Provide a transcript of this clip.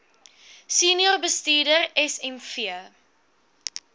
senior bestuurder smv